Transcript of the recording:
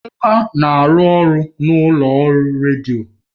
Emeka na-arụ ọrụ na ụlọ ọrụ redio